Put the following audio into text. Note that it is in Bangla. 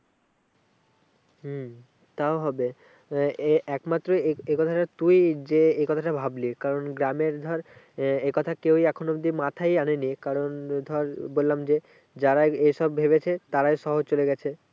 হম তাও হবে একমাত্র এ এ কথাটা তুই যে এ কথাটা ভাবলি কারণ গ্রামের ধর আহ এ কথাটা কেউ এখন অবধি মাথায় আনেনি কারণ ধর বললাম যে যারা এ সব ভেবেছে তারাই শহর চলে গেছে।